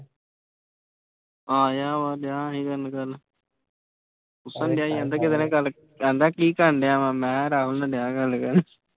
ਆ ਗਿਆ ਵਾ ਮੈਨੂੰ ਕੱਲ੍ਹ ਪੁੱਛਣ ਡਿਆ ਸੀ ਕਹਿੰਦਾ ਕਹਿੰਦਾ ਕੀ ਕਰਨਡਿਆ ਵਾਂ ਮੈਂ ਕਿਹਾ